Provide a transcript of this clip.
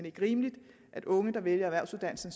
ikke rimeligt at unge der vælger erhvervsuddannelsen